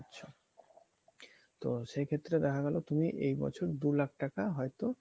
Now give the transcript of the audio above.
তো সেই ক্ষেত্রে দেখা গেলো তুমি এই বছর দু লাখ টাকা হয়তো